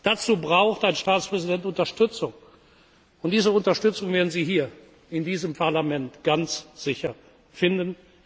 Dazu braucht ein Staatspräsident Unterstützung, und diese Unterstützung werden Sie hier in diesem Parlament ganz sicher finden.